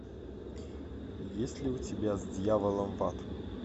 есть ли у тебя с дьяволом в ад